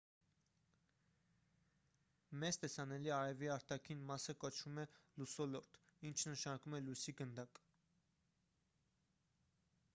մեզ տեսանելի արևի արտաքին մասը կոչվում է լուսոլորտ ինչը նշանակում է լույսի գնդակ